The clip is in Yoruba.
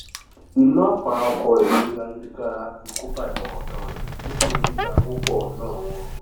ìná àpà ọkọ rẹ lórí ayélujára ti kóbá ìfọkàntán rẹ nínú dídá owó pọ ná wọn